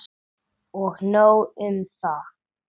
Og nóg um það.